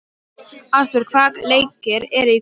Ástbjörg, hvaða leikir eru í kvöld?